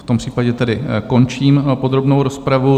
V tom případě tedy končím podrobnou rozpravu.